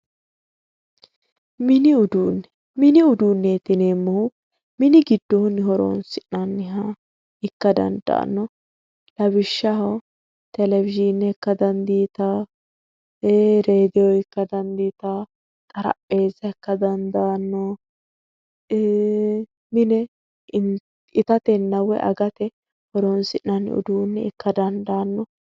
mini uduunnneti yineemmohu mini giddoonni horonsi'nanniha ikka dandaanno lawishshaho televiyiine ikka dandiitawo xarapheeza ikka dandaanno iiii mine itatenna agate horoonsi'nanni uduunne ikka dandaanno